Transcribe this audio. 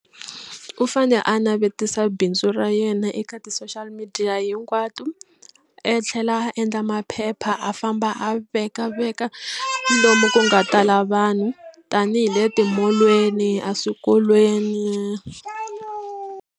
U fane a navetisa bindzu ra yena eka ti-social media hinkwato a tlhela a endla maphepha a famba a veka veka lomu ku nga tala vanhu tanihi le timolweni eswikolweni.